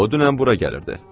O dünən bura gəlirdi.